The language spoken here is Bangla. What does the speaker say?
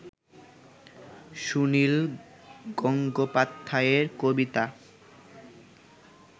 সুনিল গঙ্গোপাধ্যায় এর কবিতা